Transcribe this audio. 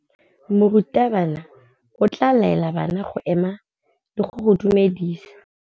Morutabana o tla laela bana go ema le go go dumedisa.